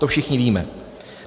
- To všichni víme.